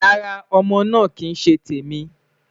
Rara, Ọmọ naa kii ṣe temi